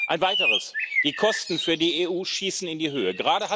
Ein Weiteres Die Kosten für die EU schießen in die Höhe.